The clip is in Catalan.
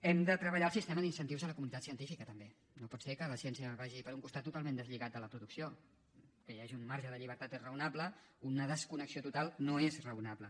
hem de treballar el sistema d’incentius a la comunitat científica també no pot ser que la ciència vagi per un costat totalment deslligat de la producció que hi hagi un marge de llibertat és raonable una desconnexió total no és raonable